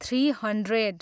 three hundred